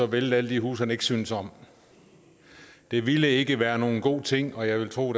vælte alle de huse han ikke synes om det ville ikke være nogen god ting og jeg ville tro